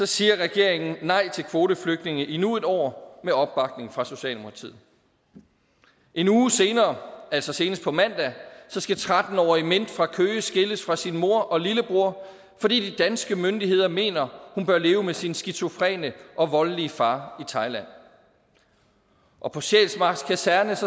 siger regeringen i nej til kvoteflygtninge endnu en år med opbakning fra socialdemokratiet en uge senere altså senest på mandag skal tretten årige mint fra køge skilles fra sin mor og lillebror fordi de danske myndigheder mener at hun bør leve med sin skizofrene og voldelige far i thailand og på sjælsmark kaserne